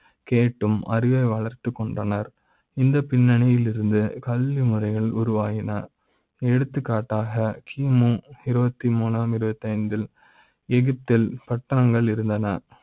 கேட்டு ம் அறிவை வளர்த்துக் கொண்டனர். இந்த பின்னணி யில் இருந்து கல்வி முறைகள் உரு வாயின. எடுத்துக்காட்டாக கி மு இருபத்தி மூன்றாம் இருபத்தை ந்து ல் எகிப்தில் பட்ட ங்கள் இருந்தன.